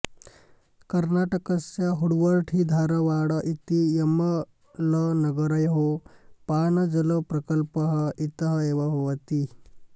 कर्णाटकस्य हुब्बळ्ळिधारवाड इति यमलनगरयोः पानजलप्रकल्पः इतः एव भवति